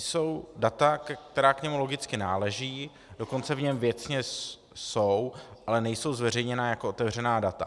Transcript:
Jsou data, která k němu logicky náležejí, dokonce v něm věcně jsou, ale nejsou zveřejněna jako otevřená data.